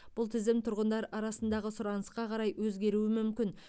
бұл тізім тұрғындар арасындағы сұранысқа қарай өзгеруі мүмкін